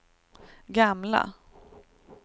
gamla